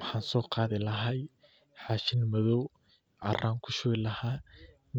Maxaa soo qaadi lahaa bac madoow,